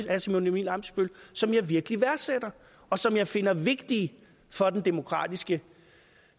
herre simon emil ammitzbøll som jeg virkelig værdsætter og som jeg finder vigtige for den demokratiske